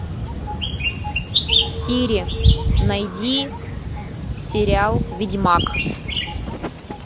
сири найди сериал ведьмак